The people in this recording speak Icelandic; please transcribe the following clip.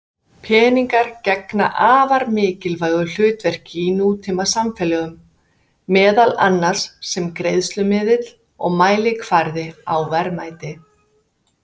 Peningar gegna afar mikilvægu hlutverki í nútímasamfélögum, meðal annars sem greiðslumiðill og mælikvarði á verðmæti.